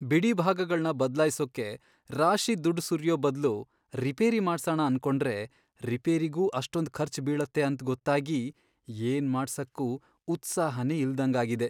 ಬಿಡಿಭಾಗಗಳ್ನ ಬದ್ಲಾಯ್ಸೋಕೆ ರಾಶಿ ದುಡ್ಡ್ ಸುರ್ಯೋ ಬದ್ಲು ರಿಪೇರಿ ಮಾಡ್ಸಣ ಅನ್ಕೊಂಡ್ರೆ ರಿಪೇರಿಗೂ ಅಷ್ಟೊಂದ್ ಖರ್ಚ್ ಬೀಳತ್ತೆ ಅಂತ್ ಗೊತ್ತಾಗಿ ಏನ್ ಮಾಡ್ಸಕ್ಕೂ ಉತ್ಸಾಹನೇ ಇಲ್ದಂಗಾಗಿದೆ.